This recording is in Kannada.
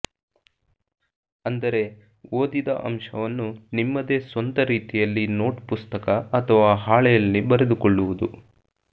ಅಂದರೆ ಓದಿದ ಅಂಶವನ್ನು ನಿಮ್ಮದೇ ಸ್ವಂತ ರೀತಿಯಲ್ಲಿ ನೋಟ್ ಪುಸ್ತಕ ಅಥವಾ ಹಾಳೆಯಲ್ಲಿ ಬರೆದುಕೊಳ್ಳುವುದು